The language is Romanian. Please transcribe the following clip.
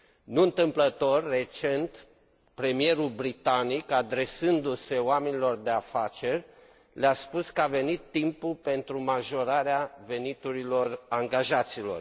Nu întâmplător, recent, premierul britanic, adresându se oamenilor de afaceri, le a spus că a venit timpul pentru majorarea veniturilor angajaților.